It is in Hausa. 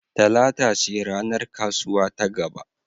Talata ce ranar kasuwa ta gaba.